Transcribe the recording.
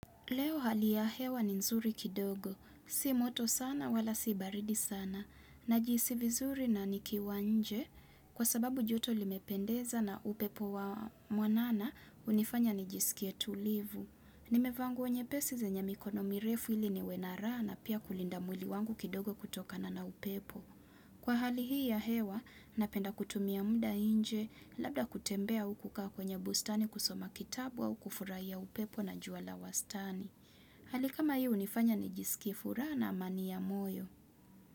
Leo hali ya hewa ni nzuri kidogo. Si moto sana, wala si baridi sana. Najihisi vizuri nanikiwanje kwa sababu joto limependeza na upepo wa mwanana unifanya nijisikie tulivu. Nimevaa nguo nyepesi, zenye mikono mirefu ili niwe na raha na pia kulinda mwili wangu kidogo kutokana na upepo. Kwa hali hii ya hewa, napenda kutumia mda nje, labda kutembea au kukaa kwenye bustani kusoma kitabu au kufurahia upepo na jua la wastani. Hali kama hii hunifanya nijisikie furaha na amani ya moyo.